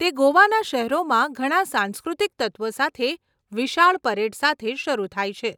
તે ગોવાના શહેરોમાં ઘણાં સાંસ્કૃતિક તત્વો સાથે વિશાળ પરેડ સાથે શરૂ થાય છે.